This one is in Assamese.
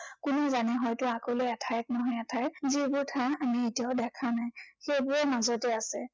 কোনে জানে হয়তো আগলৈ এঠাইত নহয় এঠাইত, যিবোৰ ঠাই আমি এতিয়াও দেখা নাই, সেইবোৰৰ মাজতে আছে।